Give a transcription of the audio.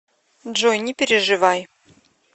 джой не переживай